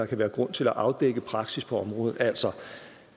kan være grund til at afdække praksis på området altså